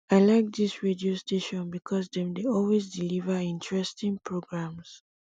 i like dis radio station because dem dey always deliver interesting programs